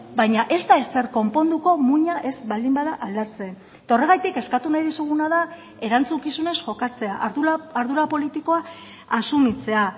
baina ez da ezer konponduko muina ez baldin bada aldatzen eta horregatik eskatu nahi dizuguna da erantzukizunez jokatzea ardura politikoa asumitzea